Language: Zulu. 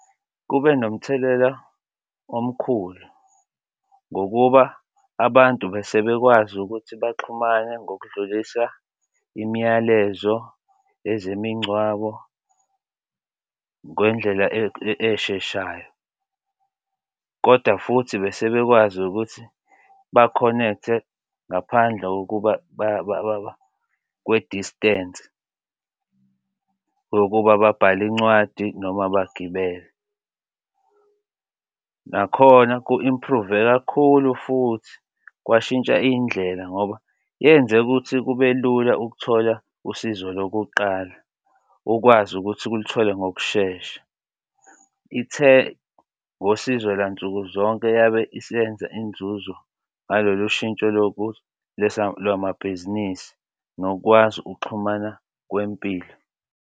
Kube nomthelela omkhulu ngokuba abantu bese bekwazi ukuthi baxhumane ngokudlulisa imiyalezo ezemingwabo ngendlela esheshayo, kodwa futhi bese bekwazi ukuthi bakhonekthe ngaphandle kokuba kwe-distance yokuba babhale incwadi noma bagibele. Nakhona ku-improve-e kakhulu futhi kwashintsha indlela ngoba yenze ukuthi kube lula ukuthola usizo lokuqala ukwazi ukuthi ukulithole ngokushesha. Ithe ungosizo la nsukuzonke yabe isebenza inzuzo ngalolu shintsho lokulwesa lwamabhizinisi nokwazi ukuxhumana kwempilo.